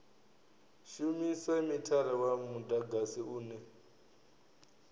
shumisa mithara wa mudagasi une